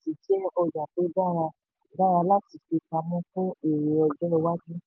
ẹ̀ka sìmẹ́ntì jẹ́ ọjà tó dára dára láti fi pamọ́ fún èrè ọjọ́ iwájú.